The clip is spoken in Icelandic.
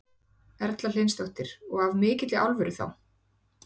Erla Hlynsdóttir: Og af mikilli alvöru þá?